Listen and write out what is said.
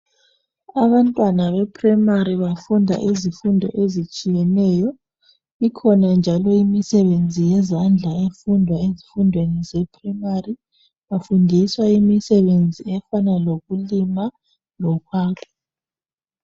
abantwana be primary bafunda izifundo ezitshiyeneyo, ikhona njalo imisebenzi yezandla efundwa ezifundweni ze primary bafundiswa imisebenzi efana lokulima lokwakha .